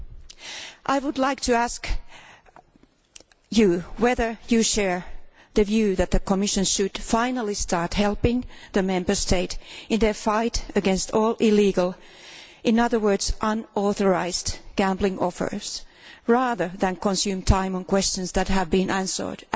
Commissioner, I would like to ask you this do you share the view that the Commission should finally start helping the Member States in their fight against all illegal in other words unauthorised gambling offers, rather than consume time on questions that have been answered